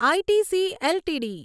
ITC LTD